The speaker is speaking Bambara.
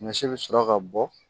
Ɲɔ si bɛ sɔrɔ ka bɔ